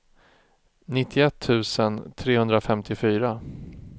nittioett tusen trehundrafemtiofyra